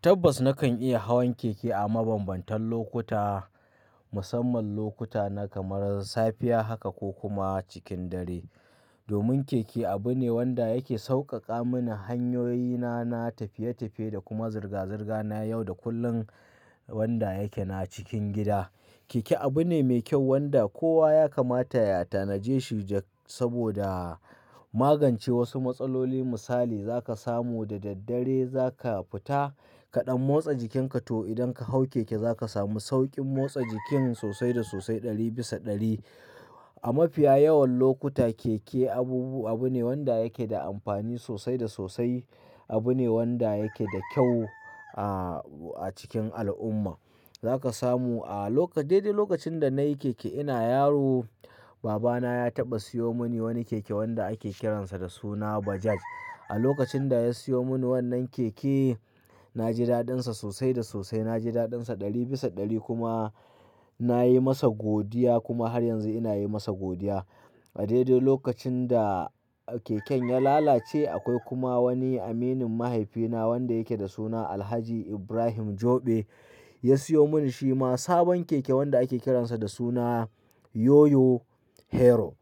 Tabbas nakan iya hawan keke a mabambantan lokuta, musamman lokuta na kamar safiya haka ko kuma cikin dare. Domin keke abu ne wanda yake sauƙaƙa mini hanyoyina na tafiye-tafiye da kuma zirga-zirga na yau da kullun wanda yake na cikin gida. Keke abu ne mai kyau wanda kowa ya kamata yata naje shi saboda magance wasu matsaloli Misali za ka samu da daddare za ka fita kaɗan motsa jikinka to idan ka hau keke za ka samu sauƙin motsa jiki sosai da sosai ɗari bisa ɗari. A mafiya yawan lokuta keke abubu abu ne wanda yake da amfani sosai da sosai. Abu ne wanda yake da kyau a, a cikin al'umma Za ka samu a daidai lokacin da na yi keke ina yaro, babana ya taɓa siyo mini wani keke wanda ake kiransa da suna Bajaj. A lokacin da ya siyo mini wannan keke, na ji daɗinsa sosai da sosai. Na ji daɗinsa ɗari bisa ɗari kuma na yi masa godiya kuma har yanzu ina yi masa godiya. A daidai lokacin da keken ya lalace akwai kuma wani aminin mahaifina wanda yake da suna Alhaji Ibrahim Joɓe ya siyo mini shi ma sabon keke wanda ake kiransa da suna Yoyo Hero.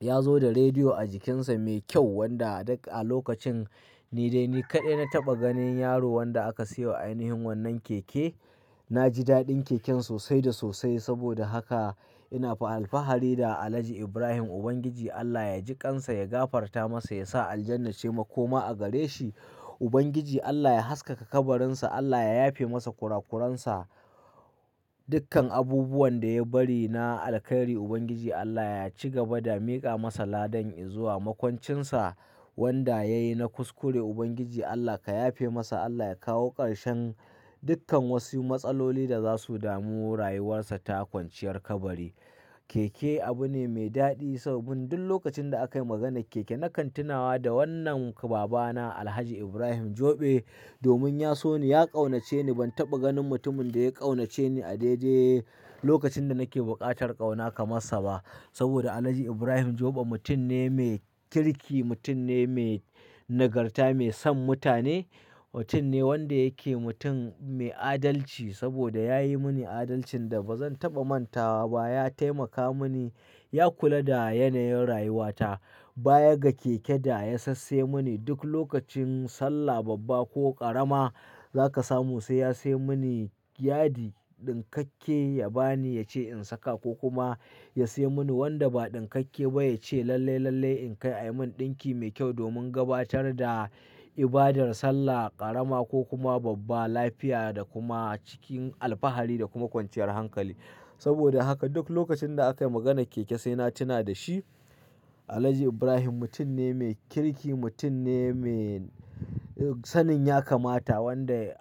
Ya zo da rediyo a jikinsa mai kyau wanda duk a lokacin ni dai ni kaɗai na taɓa ganin yaro wanda aka siyo wa ainihin wannan keke. Na ji daɗin keken sosai da sosai. Saboda haka ina alfahari da Alhaji Ibrahim. Ubangiji Allah ya jiƙansa, ya gafarta masa, ya sa aljannar ce makoma a gare shi. Ubangiji Allah ya haskaka kabarinsa, Allah ya yafe masa kurakuransa, dukkan abubuwan da ya bari na alkhairi. Ubangiji Allah ya ci gaba da miƙa masa ladan izuwa. Makwancinsa wanda ya yi na kuskure Ubangiji Allah ka yafe masa. Allah ya kawo karshen dukkan wasu matsaloli da za su damu rayuwarsa ta kwanciyar kabari. Keke abu ne mai daɗi sabbin duk lokacin da aka yi maganar keke na kan tunawa da wannan babana Alhaji Ibrahim Joɓe domin ya so ni, ya ƙaunace ni. Ban taɓa ganin mutumin da ya ƙaunace ni a daidai lokacin da nake buƙatar ƙauna kamar sa ba. Saboda Alhaji Ibrahim Joɓe mutum ne mai kirki, mutum ne mai nagarta, mai son mutane. Mutum ne wanda yake mutum mai adalci saboda ya yi mini adalcin da ba zan taɓa mantawa ba. Ya taimaka mini, ya kula da yanayin rayuwata. Bayaga keke da ya sassaye mini duk lokacin sallah babba ko ƙarama za ka samu sai ya sai mini yadi ɗinkakke ya bani ya ce in saka ko kuma ya sai mini wanda ba ɗinkakke ba ya ce lalle-lalle in kai ayi mun ɗinki mai kyau domin gabatar da ibadar sallah ƙarama ko kuma babba lafiya da kuma cikin alfahari da kuma kwanciyar hankali. Saboda haka duk lokacin da aka yi maganar keke sai na tuna da shi. Alhaji Ibrahim mutum ne mai kirki, mutum ne me sanin ya kamata wanda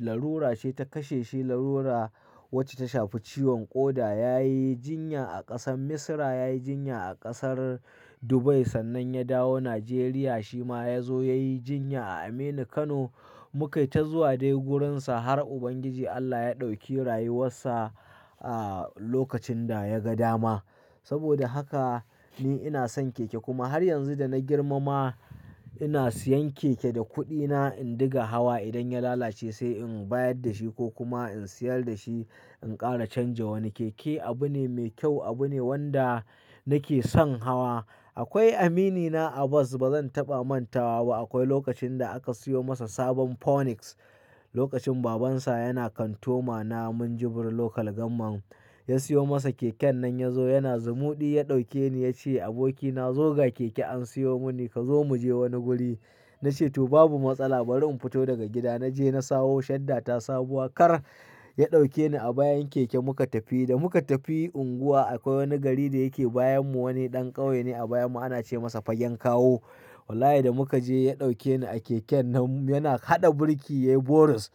larura ce ta kashe shi. Larura wacce ta shafi ciwon ƙoda. Yayi jinya a ƙasar Misira, yayi jinya a ƙasar Dubai sannan ya dawo Najeriya. Shi ma ya zo yayi jinya a Aminu Kano. Mu ka yi ta zuwa dai wurinsa har Ubangiji Allah ya ɗauki rayuwarsa a lokacin da ya ga dama. Saboda haka ni ina son keke kuma har yanzu da na girma ma ina siyan keke da kuɗina in ɗinga hawa. Idan ya lalace sai in bayar da shi ko kuma in sayar da shi in ƙara canja wani. Keke abu ne mai kyau, abu ne wanda nake son hawa. Akwai aminina Abbas ba zan taɓa manta wa ba. Akwai lokacin da aka siyo masa sabon Phoenix lokacin babansa yana kantoma na Minjibir Local Government. Ya siyo masa keken nan ya zo yana zumuɗi ya ɗauke ni ya ce, "Abokina zo ga keke an siyo mini ka zo mu je wani guri." Na ce to babu matsala bari in fito daga gida. Na je na sawo shadda ta sabuwa kar. Ya ɗauke ni a bayan keke muka tafi. Da muka tafi unguwa akwai wani gari da yake bayan mu, wani ɗan ƙauye ne a bayan mu ana ce masa Fagen Kawo. Wallahi da muka je ya ɗauke ni a keken nan yana haɗa birki yayi boris.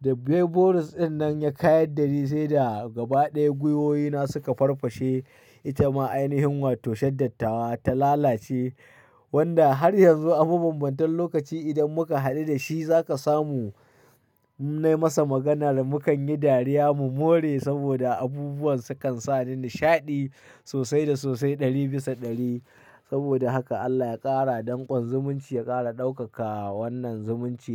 Da bai boris ɗin nan ya kayar da ni sai da gaba ɗaya gwiwoyina suka farfashe. Ita ma ainihin wato shadda tawa ta lalace. Wanda har yanzu a mabambantan lokaci idan muka haɗu da shi za ka samu na yi masa magana da mu kan yi dariya mu more saboda abubuwan su kan sa ni nishaɗi sosai da sosai ɗari bisa ɗari. Saboda haka Allah ya ƙara dankon zumunci, ya ƙara ɗaukaka wannan zumunci.